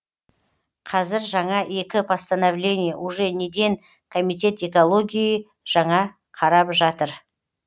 қәзір жаңа екі постановление уже неден комитет экологиии уже жаңа қарап жатыр